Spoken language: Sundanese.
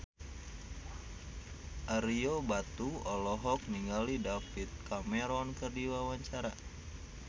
Ario Batu olohok ningali David Cameron keur diwawancara